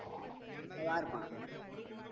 அத யார் சொன்ன